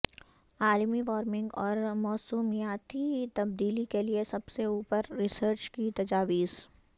عالمی وارمنگ اور موسمیاتی تبدیلی کے لئے سب سے اوپر ریسرچ کی تجاویز